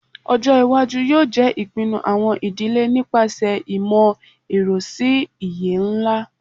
Ọjọ iwaju yoo jẹ ipinnu awọn idile nipasẹ imọ-ẹrọ si iye nla